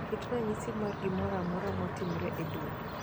Ket ranyisi mar gimoro amora matimore e dwe.